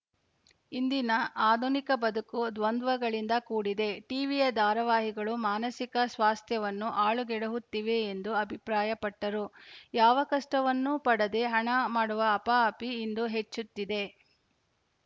ಇಂದಿನ ಆಧುನಿಕ ಬದುಕು ದ್ವಂದ್ವಗಳಿಂದ ಕೂಡಿದೆ ಟಿವಿ ಯ ದಾರಾವಾಹಿಗಳು ಮಾನಸಿಕ ಸ್ವಾಸ್ಥ್ಯವನ್ನು ಹಾಳುಗೆಡುಹುತ್ತಿವೆ ಎಂದು ಅಭಿಪ್ರಾಯ ಪಟ್ಟರು ಯಾವ ಕಷ್ಟವನ್ನೂ ಪಡದೆ ಹಣ ಮಾಡುವ ಹಪಾಹಪಿ ಇಂದು ಹೆಚ್ಚುತ್ತಿದೆ